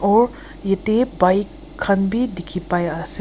aru yate bike khan be dikhi pai ase.